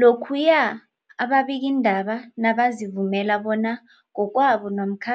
Lokhuya ababikiindaba nabazivumela bona ngokwabo namkha